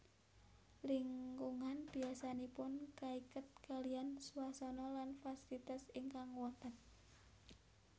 Lingkungan biasanipun kaiket kaliyan swasana lan fasilitas ingkang wonten